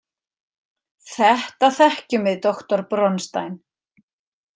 Þetta þekkjum við doktor Bronstein.